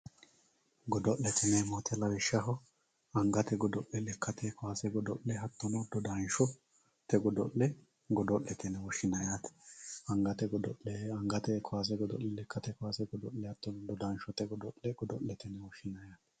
Godo'lete yineemmo woyte lawishshaho angate kaawase godo'le dodanshote godo'le godo'lete yine woshshinanni angate godo'le, angate kaawase godo'le lekkate kaase hattono dodansho godo'lete yinanni.